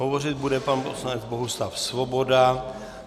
Hovořit bude pan poslanec Bohuslav Svoboda.